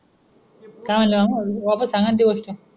काय मणले मंग वापस सांगा न ती गोस्ट?